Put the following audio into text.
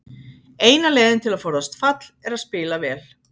Eina leiðin til að forðast fall er að spila vel.